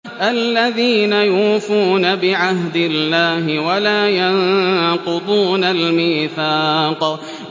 الَّذِينَ يُوفُونَ بِعَهْدِ اللَّهِ وَلَا يَنقُضُونَ الْمِيثَاقَ